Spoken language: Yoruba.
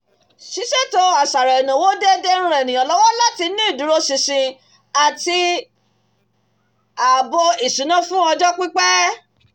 ṣíṣètò àṣàrò ìnáwó déédéé ń ran ènìyàn lọ́wọ́ láti ní ìdúróṣinṣin àti ààbò ìṣúná fún ọjọ́ pípẹ́